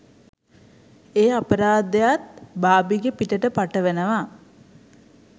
ඒ අපරාධයත් බාර්බිගේ පිටට පටවනවා.